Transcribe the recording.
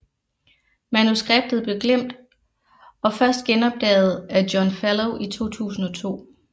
Manuskriptet blev glemt og først genopdaget af John Fellow i 2002